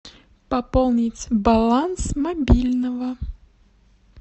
пополнить баланс мобильного